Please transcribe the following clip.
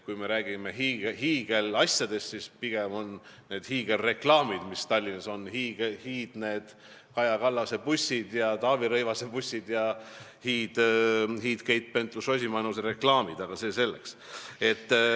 Kui me räägime hiigelasjadest, siis pigem on need hiigelreklaamid, mis Tallinnas on, need Kaja Kallase ja Taavi Rõivase bussid ning Keit Pentus-Rosimannuse hiidreklaamid, aga see selleks.